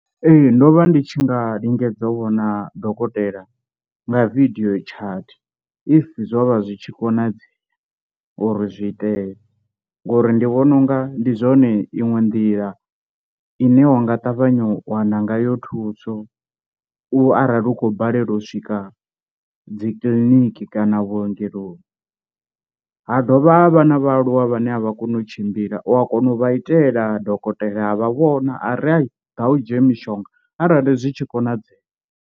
Ee ndo vha ndi tshi nga lingedza u vhona dokotela nga video chat if zwo vha zwi tshi konadzea uri zwi itee, ngori ndi vhona unga ndi zwone iṅwe nḓila ine wanga ṱavhanya u wana ngayo thuso u arali u khou balelwa u swika dzi kiḽiniki kana vhuongeloni, ha dovha ha vhana vhaaluwa vhane a vha koni u tshimbila u a kona u vha itela dokotela a vha vhona a ri i ḓa u dzhia mishonga arali zwi tshi konadzea.